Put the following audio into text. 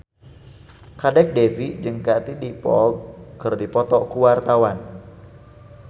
Kadek Devi jeung Katie Dippold keur dipoto ku wartawan